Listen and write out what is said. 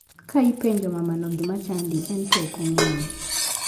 Ka ipenjo mamano gima chadi en to ok ong'eyo.